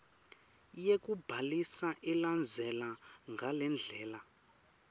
yekubhalisa ilandzela ngalendlela